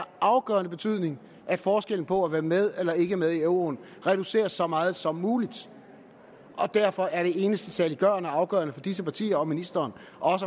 afgørende betydning at forskellen på at være med eller ikke være med i euroen reduceres så meget som muligt og derfor er det eneste saliggørende og afgørende for disse partier og ministeren